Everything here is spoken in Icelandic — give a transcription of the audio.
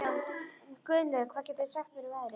Gunnlöð, hvað geturðu sagt mér um veðrið?